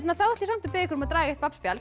þá ætla ég samt að biðja ykkur að draga eitt